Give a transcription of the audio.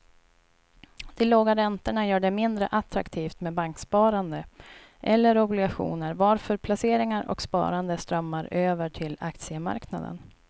De låga räntorna gör det mindre attraktivt med banksparande eller obligationer varför placeringar och sparande strömmar över till aktiemarknaden.